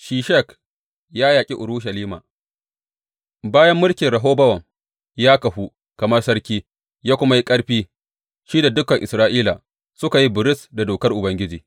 Shishak ya yaƙi Urushalima Bayan mulkin Rehobowam ya kahu kamar sarki ya kuma yi ƙarfi, shi da dukan Isra’ila suka yi biris da dokar Ubangiji.